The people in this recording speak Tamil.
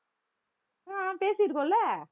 ஹம் பேசியிருக்கோம் இல்ல